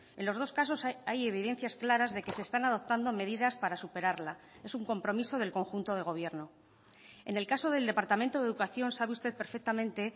en los dos casos hay evidencias claras de que se están adoptando medidas para superarla es un compromiso del conjunto de gobierno en el caso del departamento de educación sabe usted perfectamente